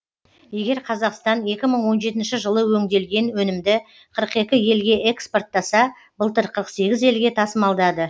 егер қазақстан екі мың он жетінші жылы өңделген өнімді қырық екі елге экспорттаса былтыр қырық сегіз елге тасымалдады